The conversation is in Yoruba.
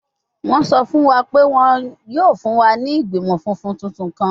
Wọn sọ fun wa pe wọn yoo fun wa ni igbimọ funfun tuntun kan